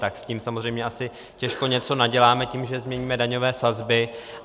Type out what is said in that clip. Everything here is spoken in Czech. Tak s tím samozřejmě asi těžko něco naděláme tím, že změníme daňové sazby.